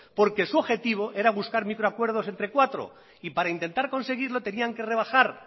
porque su objetivo era buscar micro acuerdos entre cuatro y para intentar conseguirlo tenían que rebajar